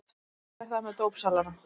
Svipað er það með dópsalana.